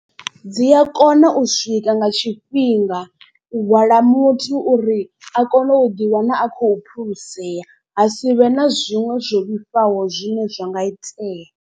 Dzi a kona u swika nga tshifhinga u hwala muthu uri a kone u ḓi wana a khou phulusea. Ha si vhe na zwiṅwe zwo vhifhaho zwine zwa nga itea.